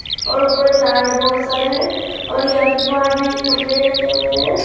और ऊपर में तार बहुत सारे हैं और यहां पे बाहर में ही कपड़े रखे हुवे हैं।